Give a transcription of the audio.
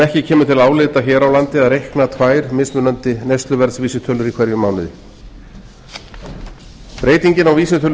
ekki kemur til álita hér á landi að reikna tvær mismunandi neysluverðsvísitölur í hverjum mánuði breytingin á vísitölu